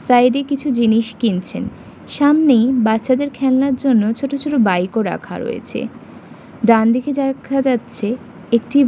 Side এ কিছু জিনিস কিনছেন সামনেই বাচাদের খেলনার জন্য ছোট ছোট বাইক ও রাখা রয়েছে। ডানদিকে যেখা যাচ্ছে একটি--